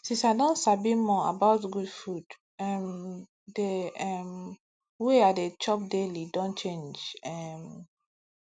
since i don sabi more about good food um the um way i dey chop daily don change um